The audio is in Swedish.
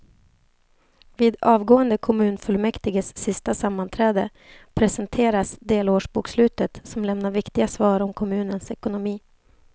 Vid avgående kommunfullmäktiges sista sammanträde presenteras delårsbokslutet som lämnar viktiga svar om kommunens ekonomi.